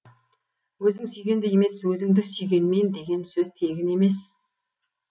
өзің сүйгенді емес өзіңді сүйгенмен деген сөз тегін емес